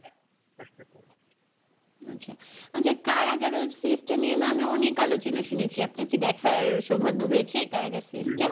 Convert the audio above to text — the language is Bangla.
আচ্ছা, আচ্ছা কারাগার ওই series টা নিয়ে না আমি অনেক আলোচনা শুনেছি আপনার কি দেখার সৌভাগ্য হয়েছে কারাগার series টা?